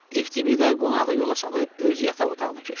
FTBida qonağı yola salıb öz yataq otağına keçdi.